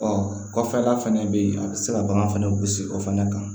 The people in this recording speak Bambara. kɔfɛla fana bɛ yen a bɛ se ka bagan fɛnɛ gosi o fana kan